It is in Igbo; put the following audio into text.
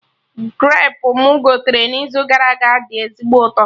Grapu mụ gotere n'izu gara aga dị ezigbo ụtọ